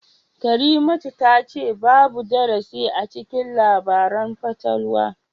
Karimatu tace babu darasi acikin labaran fatalwa